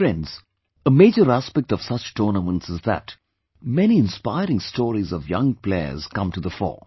Friends, a major aspect of such tournaments is that many inspiring stories of young players come to the fore